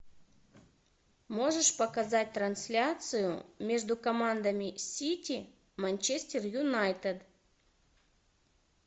можешь показать трансляцию между командами сити манчестер юнайтед